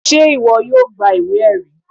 sẹ iwọ yóò gbá ìwé erí?